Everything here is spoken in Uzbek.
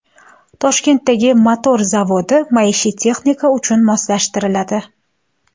Toshkentdagi motor zavodi maishiy texnika uchun moslashtiriladi.